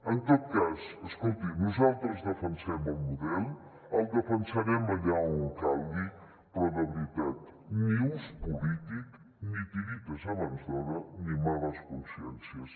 en tot cas escolti nosaltres defensem el model el defensarem allà on calgui però de veritat ni ús polític ni tiretes abans d’hora ni males consciències